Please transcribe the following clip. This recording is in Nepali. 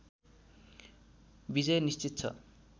विजय निश्चित छ